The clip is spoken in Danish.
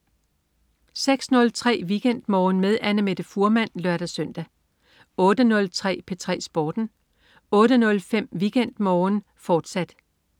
06.03 WeekendMorgen med Annamette Fuhrmann (lør-søn) 08.03 P3 Sporten 08.05 WeekendMorgen med Annamette Fuhrmann, fortsat